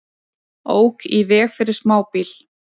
Ók í veg fyrir smábíl